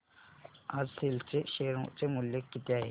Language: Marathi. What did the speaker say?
आज सेल चे शेअर चे मूल्य किती आहे